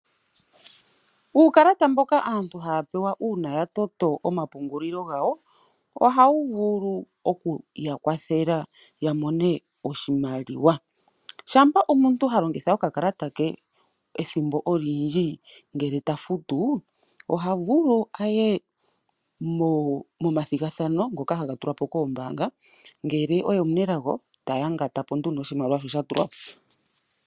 Uukala mboka aantu haya pewa uuna yatoto omapungulilo ngawo , ohawu vulu okuya kwathela yamone oshimaliwa shampa omuntu haya longitha okakalata ke ethimbo olindji ngele tofutu oha vulu aye mo mathigadhano ngono haga tulwapo koombanga ngele oye omunelago taya ngatapo nduno oshimaliwa shoka shatulwapo.